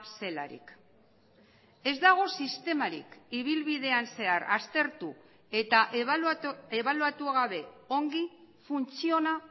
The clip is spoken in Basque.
zelarik ez dago sistemarik ibilbidean zehar aztertu eta ebaluatu gabe ongi funtziona